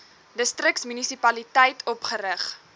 distriks munisipaliteit opgerig